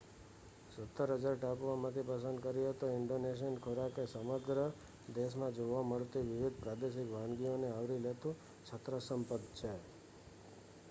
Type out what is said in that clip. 17,000 ટાપુઓમાંથી પસંદ કરીએ તો ઈન્ડોનેશિયન ખોરાક એ સમગ્ર દેશમાં જોવા મળતી વિવિધ પ્રાદેશિક વાનગીઓને આવરી લેતું છત્રસમ પદ છે